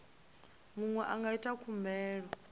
muṅwe a nga ita khumbelo